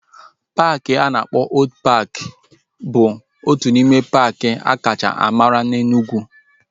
Paaki a na-akpọ Old paaki bụ otu n'ime paaki akacha mara na Enugwu